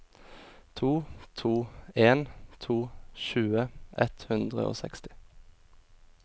to to en to tjue ett hundre og seksti